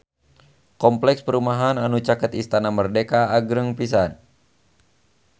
Kompleks perumahan anu caket Istana Merdeka agreng pisan